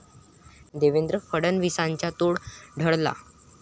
देवेंद्र फडणवीसांचा तोल ढळला